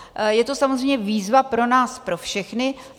Je to samozřejmě výzva pro nás pro všechny.